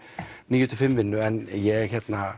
níu til fimm vinnu en ég